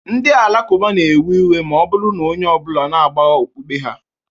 Ndị Alakụba na-ewe iwe ma ọ bụrụ na onye ọ bụla na-agbagha okpukpe ha.